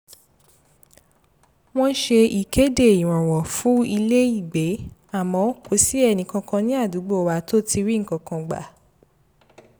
wọ́n ṣe ìkéde ìrànwọ́ fún ilé-ìgbé àmọ́ kò sí ẹnikẹ́ni ní àdúgbò wa tó ti ri nǹkan kan gbà